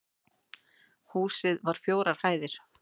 Húsið var fjórar hæðir